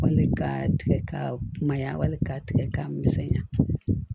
Wali ka tigɛ ka kumaya wali k'a tigɛ k'a misɛnya